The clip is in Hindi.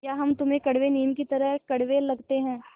या हम तुम्हें कड़वे नीम की तरह कड़वे लगते हैं